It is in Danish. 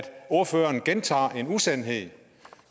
ordføreren gentager en usandhed